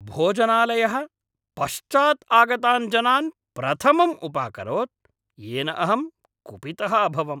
भोजनालयः पश्चात् आगतान् जनान् प्रथमम् उपाकरोत्, येन अहं कुपितः अभवम्।